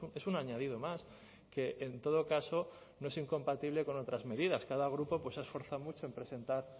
es un añadido más que en todo caso no es incompatible con otras medidas cada grupo pues se ha esforzado mucho en presentar